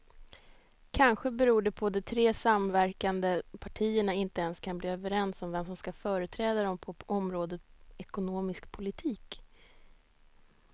Kanske beror det på att de tre samverkande partierna inte ens kan bli överens om vem som ska företräda dem på området ekonomisk politik.